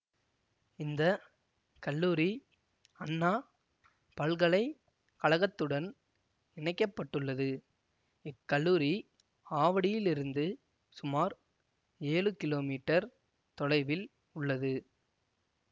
இந்த கல்லூரி அண்ணா பல்கலை கழகத்துடன் இணைக்க பட்டுள்ளது இக்கல்லூரி ஆவடியிலிருந்து சுமார் ஏழு கிலோ மீட்டர் தொலைவில் உள்ளது